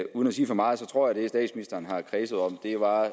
uden at sige for meget tror jeg at det statsministeren har kredset om var